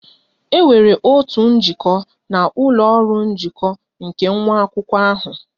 E nwere otu nnọkọ na ụlọ ọrụ njikọ nke nwa akwụkwọ ahụ